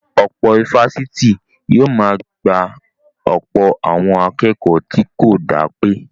Ọ̀pọ̀ ifásitì ni yóò máa gba ọ̀pọ̀ àwọn akẹ́kọ̀ọ́ tó kò dá pé